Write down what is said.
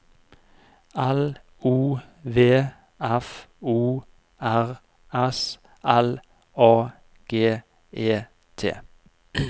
L O V F O R S L A G E T